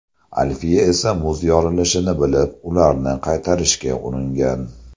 Alfiya esa muz yorilishini bilib, ularni qaytarishga uringan.